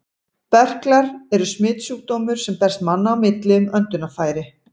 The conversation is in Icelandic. Berklar eru smitsjúkdómur, sem berst manna á milli um öndunarfæri.